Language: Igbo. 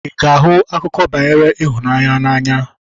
Ị ga-ahụ akụkọ banyere ịhụnanya n'anya?